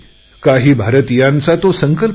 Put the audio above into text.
काही भारतीयांचा तो संकल्प आहे